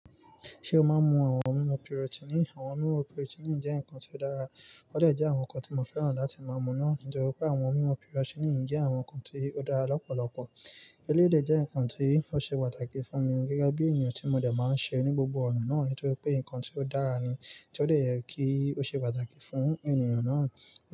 Ṣé o máa ń mu àwọn mímu protein? Àwọn mímu protein jẹ́ ǹkan tí ó dára, wọ́n dẹ jẹ́ àwọn ǹkan tí mo fẹ́ràn láti máa mú náà nítorí pé àwọn mímu protein jẹ́ àwọn ǹkan tí ó dára lọ́pọ̀lọpọ̀. Elédè jẹ́ ǹkan tí ó ṣe pàtàkì fún mi gẹ́gẹ́ bí ènìyàn tí mo dẹ̀ máa ń ṣe ní gbogbo ọ̀nà náà nítorí pé ǹkan tí ó dára ni, tí ó lè yẹ kí ó ṣe pàtàkì fún ènìyàn náà.